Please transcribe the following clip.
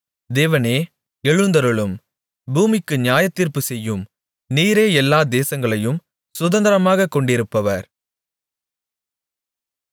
தேவனே எழுந்தருளும் பூமிக்கு நியாயத்தீர்ப்புச் செய்யும் நீரே எல்லா தேசங்களையும் சுதந்தரமாகக் கொண்டிருப்பவர்